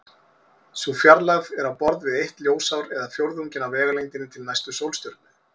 Sú fjarlægð er á borð við eitt ljósár eða fjórðunginn af vegalengdinni til næstu sólstjörnu.